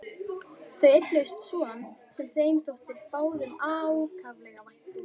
Þau eignuðust son sem þeim þótti báðum ákaflega vænt um.